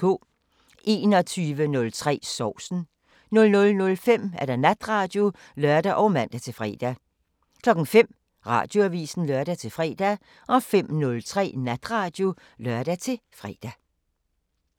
21:03: Sovsen 00:05: Natradio (lør og man-fre) 05:00: Radioavisen (lør-fre) 05:03: Natradio (lør-fre)